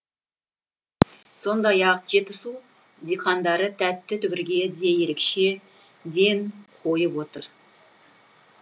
сондай ақ жетісу диқандары тәтті түбірге де ерекше ден қойып отыр